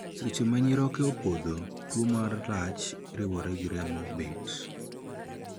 Seche ma nyiroke opodho, tuo ma lach riwore gi remo bet.